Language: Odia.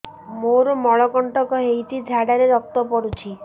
ମୋରୋ ମଳକଣ୍ଟକ ହେଇଚି ଝାଡ଼ାରେ ରକ୍ତ ପଡୁଛି